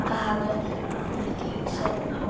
Það hafði hann ekki hugsað út í.